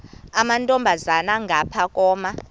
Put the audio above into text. amantombazana ngapha koma